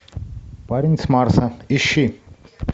парень с марса ищи